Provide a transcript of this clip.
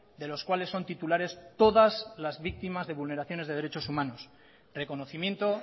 de los cuales son titulares todas las víctimas de vulneraciones de derechos humanos reconocimiento